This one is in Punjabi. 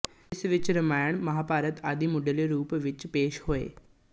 ਜਿਸ ਵਿੱਚ ਰਾਮਾਇਣ ਮਹਾਂਭਾਰਤ ਆਦਿ ਮੁੱਢਲੇ ਰੂਪ ਵਿੱਚ ਪੇਸ਼ ਹੋਏ